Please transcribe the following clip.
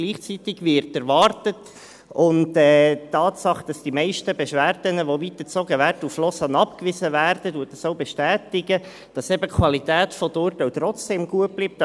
Gleichzeitig wird erwartet – und die Tatsache, dass die meisten Beschwerden, die nach Lausanne weitergezogen werden, abgewiesen werden, bestätigt dies –, dass eben die Qualität der Urteile trotzdem gut bleibt.